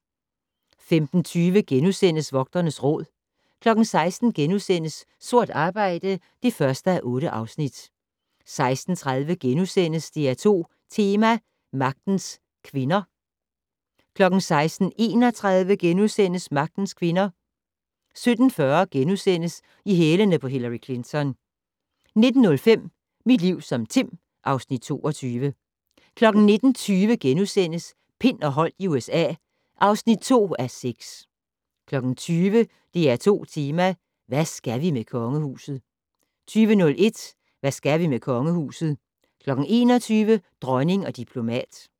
15:20: Vogternes Råd * 16:00: Sort arbejde (1:8)* 16:30: DR2 Tema: Magtens Kvinder * 16:31: Magtens kvinder * 17:40: I hælene på Hillary Clinton * 19:05: Mit liv som Tim (Afs. 22) 19:20: Pind og Holdt i USA (2:6)* 20:00: DR2 Tema: Hvad skal vi med kongehuset? 20:01: Hvad skal vi med kongehuset? 21:00: Dronning og diplomat